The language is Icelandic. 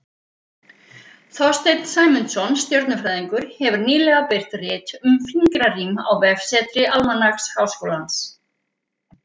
þorsteinn sæmundsson stjörnufræðingur hefur nýlega birt rit um fingrarím á vefsetri almanaks háskólans